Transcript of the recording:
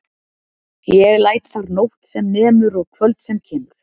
Ég læt þar nótt sem nemur og kvöld sem kemur.